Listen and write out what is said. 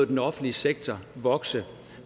den offentlige sektor vokse